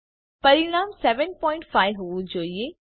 પરિણામ 75 હોવું જોઈએ